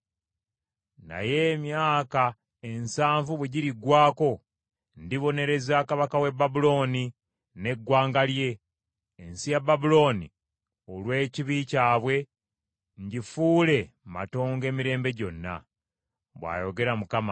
“Naye emyaka ensanvu bwe giriggwako, ndibonereza kabaka w’e Babulooni n’eggwanga lye, ensi ya Babulooni olw’ekibi kyabwe, ngifuule matongo emirembe gyonna,” bw’ayogera Mukama .